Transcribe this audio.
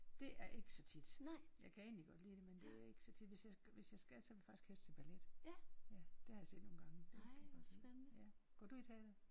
Det er ikke så tit. Jeg kan egentlig godt lide det men det er ikke så tit. Hvis jeg hvis jeg skal så vil jeg faktisk helst se ballet. Ja det har jeg set nogle gange. Det kan jeg godt lide. Går du i teatret?